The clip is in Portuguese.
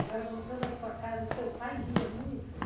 Agora, voltando à sua casa, o seu pai lia muito?